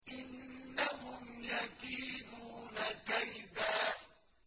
إِنَّهُمْ يَكِيدُونَ كَيْدًا